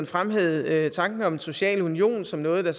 fremhævede tanken om en social union som noget der